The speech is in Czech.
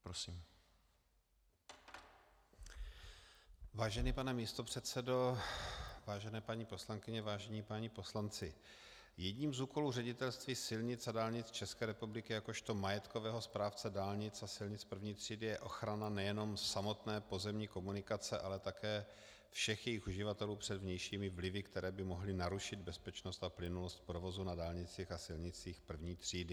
Vážený pane místopředsedo, vážené paní poslankyně, vážení páni poslanci, jedním z úkolů Ředitelství silnic a dálnic České republiky jakožto majetkového správce dálnic a silnic první třídy je ochrana nejenom samotné pozemní komunikace, ale také všech jejích uživatelů před vnějšími vlivy, které by mohly narušit bezpečnost a plynulost provozu na dálnicích a silnicích první třídy.